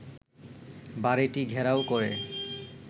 বাড়ীটি ঘেরাও করে